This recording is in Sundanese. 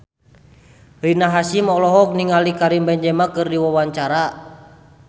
Rina Hasyim olohok ningali Karim Benzema keur diwawancara